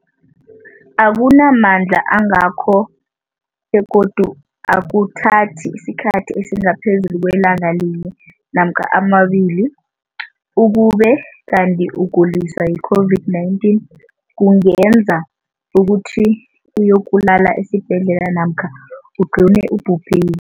akuna mandla angako begodu akuthathi isikhathi esingaphezulu kwelanga linye namkha mabili, ukube kanti ukuguliswa yi-COVID-19 kungenza ukuthi uyokulala esibhedlela namkha ugcine ubhubhile.